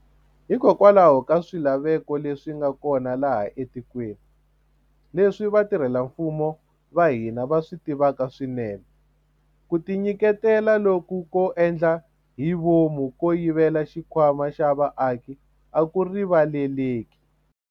Hikokwalaho ka swilaveko leswi nga kona laha etikweni, leswi vatirhela mfumo va hina va swi tivaka swinene, ku tinyiketela loku ko endla hi vomu ko yivela xikhwama xa vaaki a ku riva leleki.